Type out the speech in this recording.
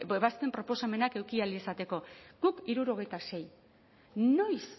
ebazpen proposamenak eduki ahal izateko guk hirurogeita sei noiz